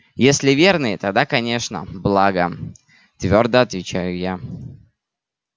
если верный тогда конечно благо твёрдо отвечаю я